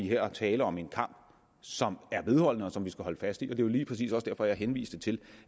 her er tale om en kamp som er vedholdende og som vi skal holde fast i og det lige præcis også derfor at jeg henviste til